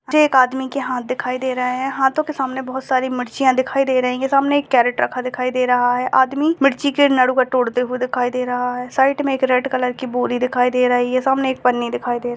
एक आदमी के हाथ दिखाई दे रहे हैं हाथों के सामने बोहोत सारी मिर्चीया दिखाई दे रहे हैं सामने एक कैरट दिखाई दे रहा है आदमी मिर्ची के तोड़ते दिखाई दे रहा है साइड मे एक रेड कलर की बोरी दिखाई दे रही है सामने एक पन्नी दिखाई दे रही--